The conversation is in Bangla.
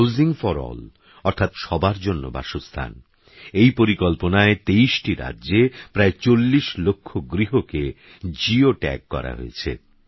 হাউসিংফরঅল অর্থাৎসবারজন্যবাসস্থান এইপরিকল্পনায়তেইশটিরাজ্যেপ্রায়চল্লিশলক্ষগৃহকেGeo Tagকরাহয়েছে